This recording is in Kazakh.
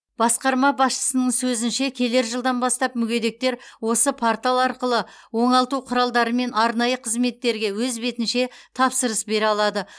басқарма басшысының сөзінше келер жылдан бастап мүгедектер осы портал арқылы оңалту құралдары мен арнайы қызметтерге өз бетінше тапсырыс бере алады